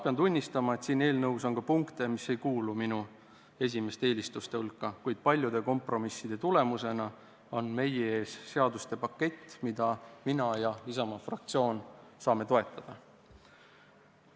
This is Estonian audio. Pean tunnistama, et siin eelnõus on ka selliseid punkte, mis ei kuulu minu esimeste eelistuste hulka, kuid paljude kompromisside tulemusena on meie ees seaduste pakett, mida mina ja Isamaa fraktsioon saame toetada.